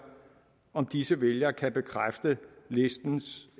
om disse vælgere kan bekræfte listens